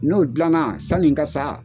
N'o dilanna sanni n ka sa,